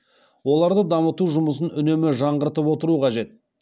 оларды дамыту жұмысын үнемі жаңғыртып отыру қажет